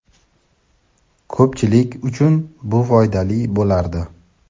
ko‘pchilik uchun bu foydali bo‘lardi.